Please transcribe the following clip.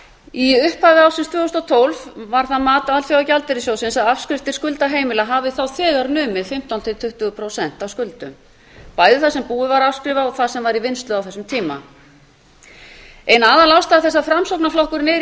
í upphafi ársins tvö þúsund og tólf var það mat alþjóðagjaldeyrissjóðsins að afskriftir skulda heimila hafi þá þegar numið fimmtán til tuttugu prósent af skuldum bæði það sem búið var að afskrifa og það sem var í vinnslu á þessum tíma ein aðalástæða þess að framsóknarflokkurinn er í